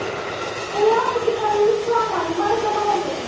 Þau hafa ekki farið út saman í marga mánuði.